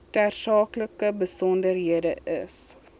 tersaaklike besonderhede is